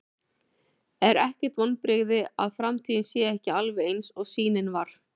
Er ekkert vonbrigði að framtíðin sé ekki alveg eins og sýnin var?